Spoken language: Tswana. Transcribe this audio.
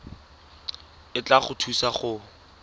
e tla go thusa go